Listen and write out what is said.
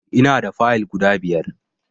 Ina da Fayill guda biyar